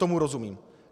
Tomu rozumím.